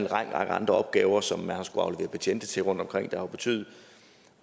række andre opgaver som man har skullet aflevere betjente til rundtomkring hvilket jo har betydet